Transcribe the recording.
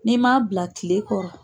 N'i m'a bila tile kɔrɔ.